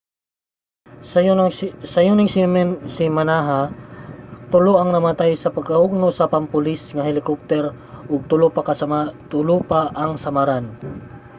sayo ning semanaha tulo ang namatay sa pagkahugno sa pampulis nga helikopter ug tulo pa ang samaran